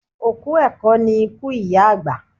Òkú ẹ̀kọ ni iku iya agba